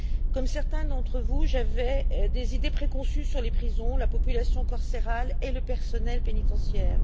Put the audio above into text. Comme certains d'entre vous, j'avais des idées préconçues sur les prisons, la population carcérale et le personnel pénitentiaire.